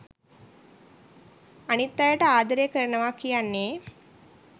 අනිත් අයට ආදරේ කරනවා කියන්නේ